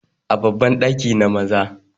babban daki na Maza